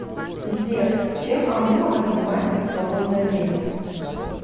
сбер чем алымова занимается в свободное время